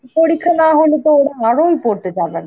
পরীক্ষা না হলে তো ওরা আরোই পড়তে চাবে না.